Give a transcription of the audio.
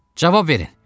Cavab verin.